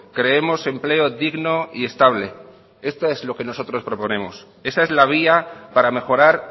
creemos empleo digno y estable esto es lo que nosotros proponemos esa es la vía para mejorar